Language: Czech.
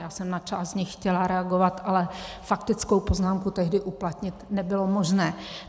Já jsem na část z nich chtěla reagovat, ale faktickou poznámku tehdy uplatnit nebylo možné.